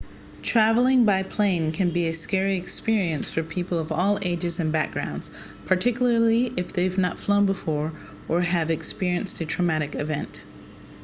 travelling by plane can be a scary experience for people of all ages and backgrounds particularly if they've not flown before or have experienced a traumatic event